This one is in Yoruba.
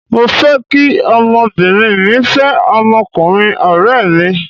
Mo fẹ́ kí ọmọbìnrin mí fẹ́ ọmọkùnrin ọ̀rẹ́ mi.